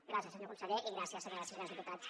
gràcies senyor conseller i gràcies senyores i senyors diputats